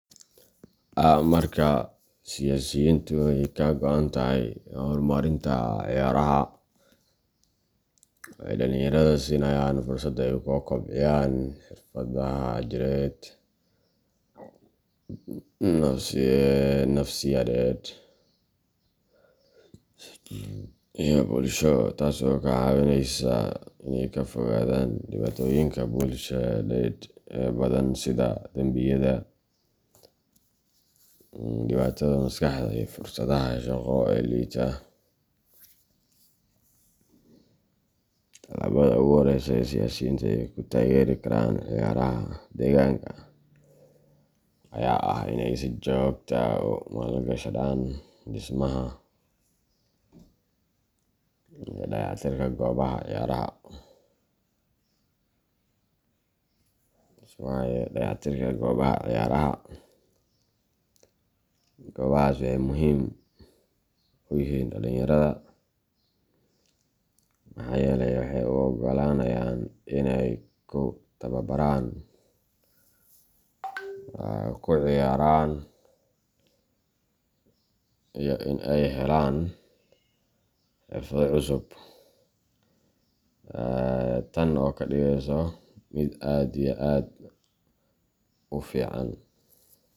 Marka siyaasiyiintu ay ka go'an tahay horumarinta ciyaaraha, waxay dhalinyarada siinayaan fursad ay ku kobciyaan xirfadaha jireed, nafsiyadeed, iyo bulsho, taas oo ka caawineysa inay ka fogaadaan dhibaatooyinka bulsheed ee badan sida dambiyada, dhibaatada maskaxda, iyo fursadaha shaqo ee liita. Tallaabada ugu horeysa ee siyaasiyiintu ay ku taageeri karaan ciyaaraha deegaanka ayaa ah in ay si joogto ah ugu maalgashadaan dhismaha iyo dayactirka goobaha ciyaaraha. Goobahaas waxay muhiim u yihiin dhalinyarada, maxaa yeelay waxay u oggolaanayaan in ay ku tababaraan, ku ciyaaraan, iyo in ay helaan xirfado cusub, taan oo kadigeso mid aad iyo aad u fican.